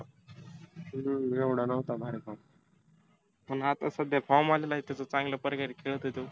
हम्म एवढा नव्हता भारी form पण आता सध्याला form आलेला आहे. त्याच चांगल्या प्रकारे खेळतो तो.